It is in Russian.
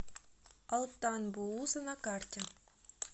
алтан бууза на карте